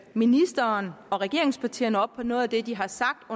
ministeren og regeringspartierne op på noget af det de har sagt